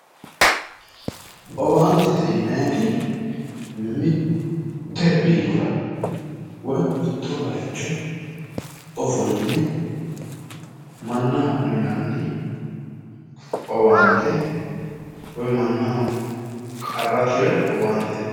owaantete yinayiti mitte biirora woy mitto bayicho ofolline mannaho uyinanni owante woy mannaho qarra tira owaantete.